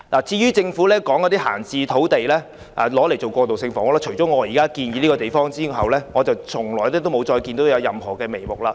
政府表示要以閒置土地興建過渡性房屋，但除了我建議了選址外，我一直沒看到任何進展。